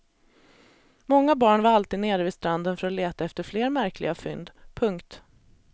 Många barn var alltid nere vid stranden för att leta efter fler märkliga fynd. punkt